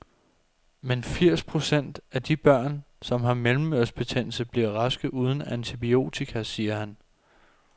Men firs procent af de børn, som har mellemørebetændelse, bliver raske uden antibiotika, siger han.